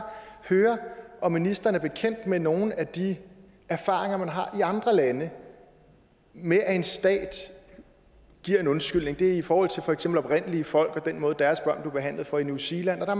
høre om ministeren er bekendt med nogle af de erfaringer man har i andre lande med at en stat giver en undskyldning det er i forhold til for eksempel oprindelige folk og den måde deres børn blev behandlet på i new zealand og der